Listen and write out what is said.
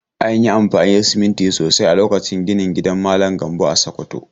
An yi amfani da siminti sosai a lokacin ginin gidan malam Gambo a Sokoto.